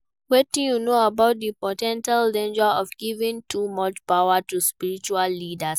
Wetin you know about di po ten tial dangers of giving too much power to spiritual leaders?